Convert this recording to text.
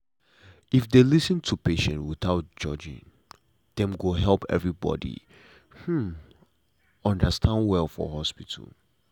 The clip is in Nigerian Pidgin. if dem lis ten to patient without judging dem e go help everybody hmm understand well for hospital.